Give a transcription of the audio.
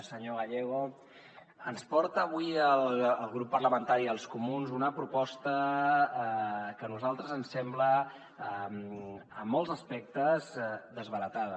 senyor gallego ens porta avui el grup parlamentari dels comuns una proposta que a nosaltres ens sembla en molts aspectes desbaratada